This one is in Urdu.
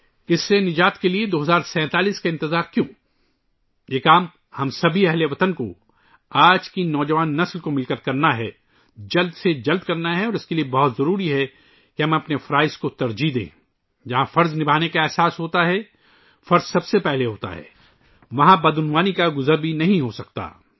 اس سے نجات کے لئے 2047 ء کا انتظار کیوں؟ ہم تمام اہل وطن، آج کے نوجوانوں کو مل کر یہ کام جلد از جلد کرنا ہے اور اس کے لئے یہ بہت ضروری ہے کہ ہم اپنے فرائض کو ترجیح دیں ، جہاں فرض کا احساس ہو، فرض سب سے اہم ہو ، وہاں کرپشن پھٹک بھی نہیں سکتا